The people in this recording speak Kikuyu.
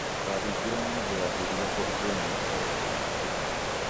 Ndũkahingĩre ng'ombe ya iria kũndũ kwĩna matoro maingĩ